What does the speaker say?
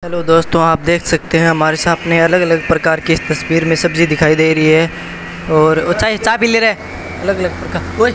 hello दोस्तों आप देख सकते है हमारे सामने अलग अलग प्रकार की इस तस्वीर में सब्जी दिखाई दे रही है और --